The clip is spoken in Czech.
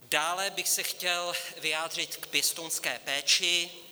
Dále bych se chtěl vyjádřit k pěstounské péči.